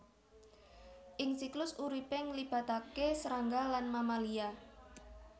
Ing siklus uripé nglibataké srangga lan mamalia